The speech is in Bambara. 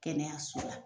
Kɛnɛyaso la